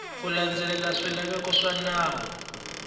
ku landzelela swilaveko swa nawu